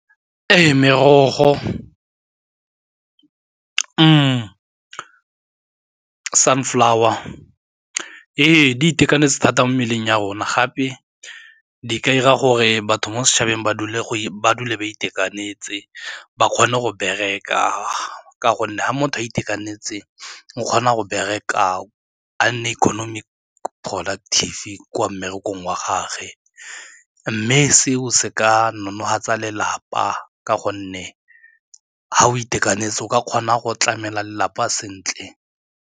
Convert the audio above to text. Ee, merogo sunflower. Ee, di itekanetse thata mo mmeleng ya rona gape di ka dira gore batho mo setšhabeng ba dule ba itekanetse ba kgone go bereka ka gonne ga motho a itekanetse o kgona go bereka a nne economic productive kwa mmerekong wa gage mme seo se ka nonofatsa lelapa ka gonne ga o itekanetse o ka kgona go tlamela lelapa sentle.